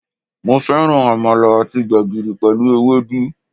Mo féràn Àmàlà àti gbègìrì pèlú ewédú